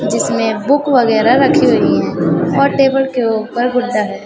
जिसमें बुक वगैरह रखी हुई है और टेबल के ऊपर गुड्डा है।